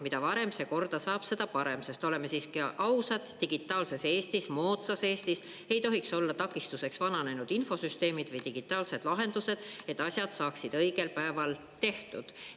Mida varem see korda saab, seda parem, sest oleme siiski ausad, digitaalses Eestis, moodsas Eestis ei tohiks olla takistuseks vananenud infosüsteemid või digitaalsed lahendused, et asjad saaksid õigel päeval tehtud.